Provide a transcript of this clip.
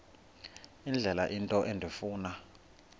indlela into endifuna